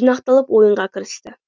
жинақталып ойынға кірісті